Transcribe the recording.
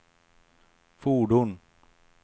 fordon